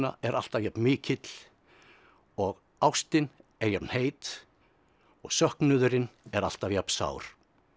er alltaf jafn mikill og ástin er jafn heit og söknuðurinn er alltaf jafn sár